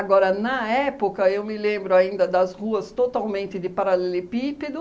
na época, eu me lembro ainda das ruas totalmente de paralelepípedo,